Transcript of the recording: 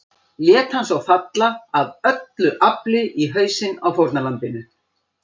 Lét hann svo falla AF ÖLLU AFLI í hausinn á fórnarlambinu.